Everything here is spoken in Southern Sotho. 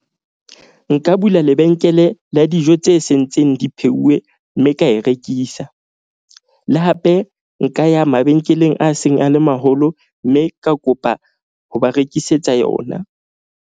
Nka bula lebenkele la dijo tse sentseng di pheuwe. Mme ka e rekisa le hape nka ya mabenkeleng a seng a le maholo. Mme ka kopa ho ba rekisetsa yona.